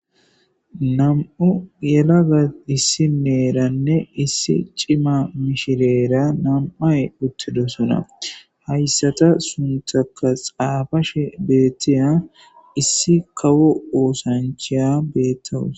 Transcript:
Nam'u yelagga issinneeranne issi ciimma mishireera nam'ay uttidosona hayssata suntakaa xaafashshe beettiya issi kawo oosanchchiya bettawus